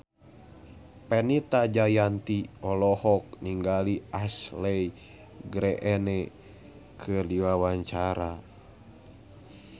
Fenita Jayanti olohok ningali Ashley Greene keur diwawancara